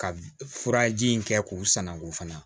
Ka furaji in kɛ k'u sanango fana